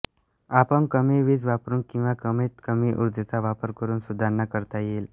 आपण कमी वीज वापरून किंवा कमीत कमी उर्जेचा वापर करून सुधारणा करता येईल